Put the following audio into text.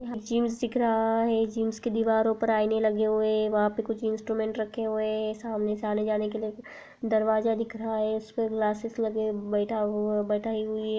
Gyms दिख रहा है जिम्स के दीवारों पर आइने लगे हुए है वहां पे कुछ इंस्ट्रूमेंट रखे हुए है सामने से आने जाने के लिए दरवाज़ा दिख रहा है जिसमें ग्लासेज लगे- बैठा- बैठाये हुए है।